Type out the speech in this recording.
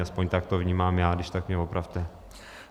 Aspoň tak to vnímám já, když tak mě opravte.